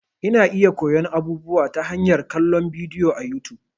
Ina iya koyon abubuwa ta hanyar kallon bidiyo a YouTube.